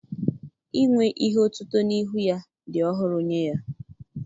Inwe ihe otutu n'ihu ya dị ọhụrụ nye ya